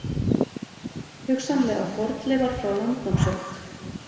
Hugsanlega fornleifar frá landnámsöld